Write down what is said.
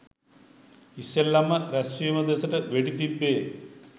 ඉස්සෙල්ලම රැස්වීම දෙසට වෙඩි තිබ්බේ.